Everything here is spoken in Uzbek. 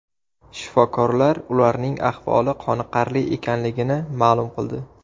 Shifokorlar ularning ahvoli qoniqarli ekanligini ma’lum qildi.